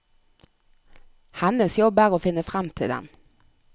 Hennes jobb er å finne frem til den.